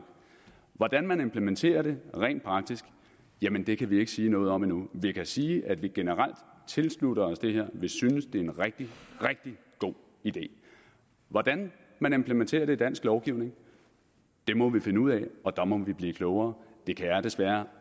hvordan man implementerer det rent praktisk jamen det kan vi ikke sige noget om endnu vi kan sige at vi generelt tilslutter os det her vi synes det er en rigtig rigtig god idé hvordan man implementerer det i dansk lovgivning må vi finde ud af og der må vi blive klogere det kan jeg desværre